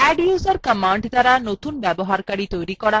সারসংক্ষেপে আমরা শিখেছি :